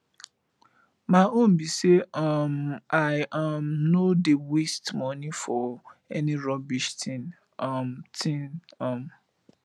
my own be say um i um no dey waste money for any rubbish thing um thing um